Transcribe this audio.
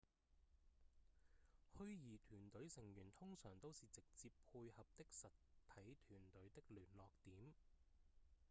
虛擬團隊成員通常都是直接配合的實體團隊的聯絡點